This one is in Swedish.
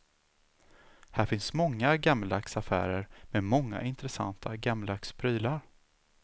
Här finns många gammeldags affärer med många intressanta gammeldags prylar.